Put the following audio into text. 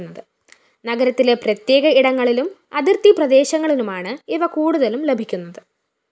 നഗരത്തിലെ പ്രത്യേക ഇടങ്ങളിലും അതിര്‍തി പ്രദേശങ്ങളിലുമാണ് ഇവ കൂടുതലും ലഭിക്കുന്നത്